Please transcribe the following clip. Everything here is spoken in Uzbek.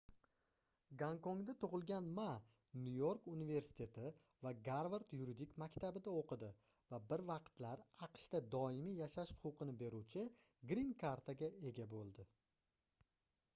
gonkongda tug'ilgan ma nyu-york universiteti va garvard yuridik maktabida o'qidi va bir vaqtlar aqshda doimiy yashash huquqini beruvchi grin karta"ga ega bo'ldi